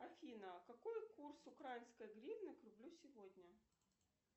афина какой курс украинской гривны к рублю сегодня